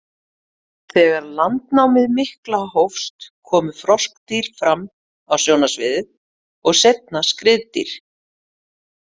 Þegar landnámið mikla hófst komu froskdýr fram á sjónarsviðið og seinna skriðdýr.